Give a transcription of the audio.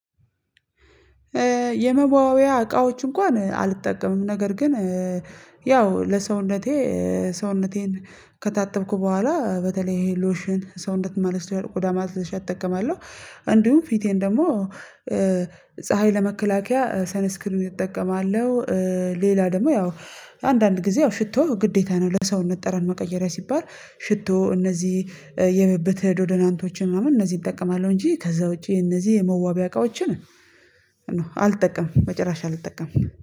የመዋቢያያ እቃዎች እንኳን አልጠቀምም ነገር ግን ያው ለሰውነቴ ሰውነቴን ከታተብኩ በኋላ በተለይ ይሄ ሎሽን ሰውነት ማለስ ቆዳ ማለስለሻ እጠቀማለሁ። አንዱም ፊቴን ደግሞ ፀሀይ ለመከላከያ ሰነስክሪን እጠቀማለሁ። ሌላ ደግሞ ያው አንዳንድ ጊዜ ያው ሽቶ ግዴታ ነው ለሰውነት ጠራን መቀየሪያ ሲባል ሽቶ እነዚህ የብብተ ዶዶናንቶችን ምናምን እነዚህ እጠቀማለሁ እንጂ ከዛ ውጪ እነዚህ የመዋቢያ እቃዎችን ኖ አልጠቀምም። መጨረሻ አልጠቀምም